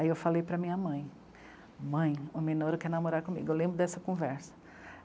Aí eu falei para minha mãe, mãe, o Minoru quer namorar comigo, eu lembro dessa conversa.